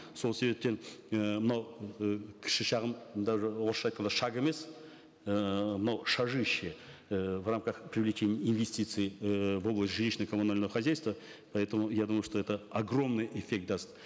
сол себептен і мынау ы кіші шағын даже орысша айтқанда шаг емес ыыы мынау шажище ііі в рамках привлечения инвестиций эээ в область жилищно коммунального хозяйства поэтому я думаю что это огромный эффект даст